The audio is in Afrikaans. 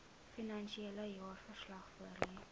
finansiële jaarverslag voorlê